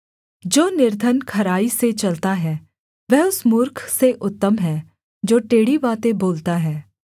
जो निर्धन खराई से चलता है वह उस मूर्ख से उत्तम है जो टेढ़ी बातें बोलता है